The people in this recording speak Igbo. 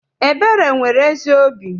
Ebere nwere ezi obi.